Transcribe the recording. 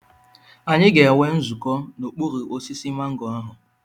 Anyị ga-enwe nzukọ n'okpuru osisi mango ahụ.